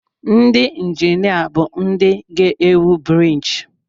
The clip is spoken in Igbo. Ndị injinia bụ ndị ga-ewu briiji.